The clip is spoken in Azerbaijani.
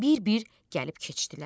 Bir-bir gəlib keçdilər.